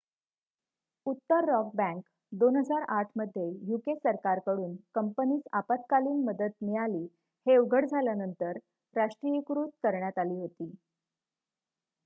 उत्तर rock bank 2008 मध्ये UK सरकार कडून कंपनीस आपत्कालीन मदत मिळाली हे उघड झाल्यानंतर राष्ट्रीयीकृत करण्यात आली होती